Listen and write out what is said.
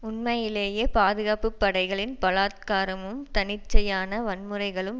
உண்மையிலேயே பாதுகாப்பு படைகளின் பலாத்காரமும் தன்னிச்சையான வன்முறைகளும்